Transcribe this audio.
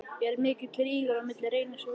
Er mikill rígur á milli Reynis og Víðis?